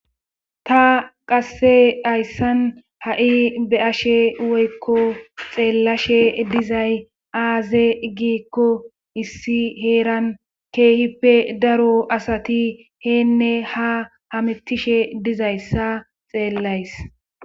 Ta qasse hayssan ha7i be ashe woykko xeellashe dizay aaze gikko issi heeran keehippe daro asati heenne ha hamitishe dizayssa xeellays